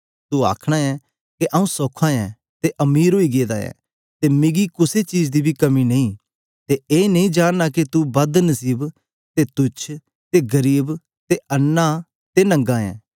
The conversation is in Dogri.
तू आखना ऐं के आऊँ सौखा ऐं ते अमीर ओई गेदा ऐं ते मिकी कुसे चीज दी बी कमी नेई ते ए नेई जानना के तू बद नसीब ते तुच्छ ते गरीब ते अन्नां ते नंगा ऐ